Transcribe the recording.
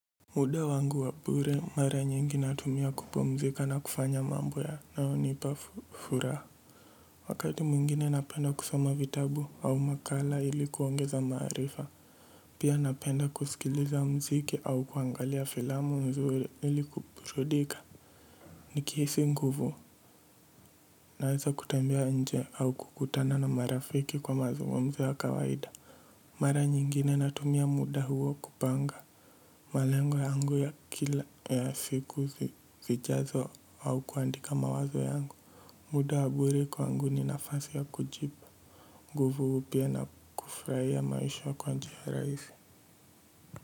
Muda wangu wa bure mara nyingi natumia kupumzika na kufanya mambo yanayo nipa furaha. Wakati mwungine napenda kusoma vitabu au makala ili kuongeza marifa pia napenda kusikiliza mziki au kuangalia filamu nzuri ili kuburudika. Nikihisi nguvu naweza kutembea nje au kukutana na marafiki kwa mazungumzo ya kawaida. Mara nyingine natumia muda huo kupanga, malengo yangu ya kila ya siku zijazo au kuandika mawazo yangu. Muda wa bure kwangu ni nafasi ya kujipa, nguvu upya na kufurahia maisha kwa njia rahisi.